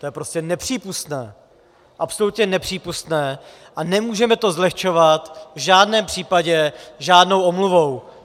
To je prostě nepřípustné, absolutně nepřípustné a nemůžeme to zlehčovat v žádném případě žádnou omluvou.